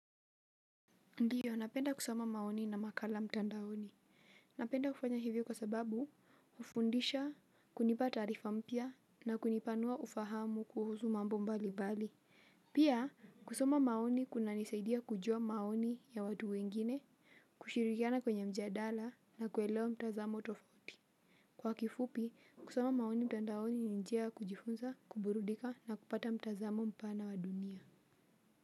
Ndiyo, napenda kusoma maoni na makala mtandaoni. Napenda kufanya hivyo kwa sababu, hufundisha, kunipa taarifa mpya na kunipanua ufahamu kuhusu mambo mbalimbali. Pia, kusoma maoni kunanisaidia kujua maoni ya watu wengine, kushirikiana kwenye mjadala, na kuelewa mtazamo tofauti. Kwa kifupi, kusoma maoni mtandaoni ni njia ya kujifunza, kuburudika na kupata mtazamo mpana wa dunia.